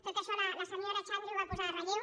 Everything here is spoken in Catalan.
tot això la senyora xandri ho va posar en relleu